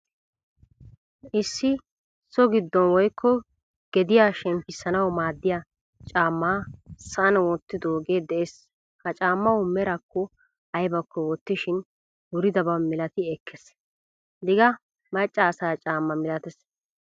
Issi so giddon woykko gediyaa shemppisanawu maadiyaa caama sa'an wottidoge de'ees. Ha caamawu merako aybako wottishin wuridaba milati ekkees. Digga macca asa caama milatees.